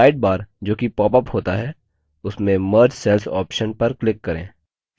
sidebar जो कि popsअप होता है उसमें merge cells option पर click करें